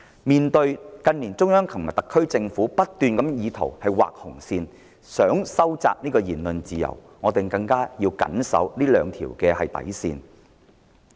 面對近年中央和特區政府不斷畫紅線意圖收窄言論自由，我們更要緊守這兩條底線。